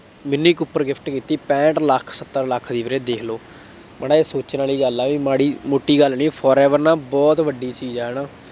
mini Cooper gift ਕੀਤੀ, ਪੈਂਹਠ ਲੱਖ, ਸੱਤਰ ਲੱਖ ਦੀ ਵੀਰੇ ਦੇਖ ਲਉ, ਮਾੜਾ ਜਿਹਾ ਸੋਚਣ ਵਾਲੀ ਗੱਲ ਹੈ ਬਈ ਮਾੜੀ ਮੋਟੀ ਗੱਲ ਨਹੀਂ forever ਨਾ ਬਹੁਤ ਵੱਡੀ ਚੀਜ਼ ਹੈ ਨਾ,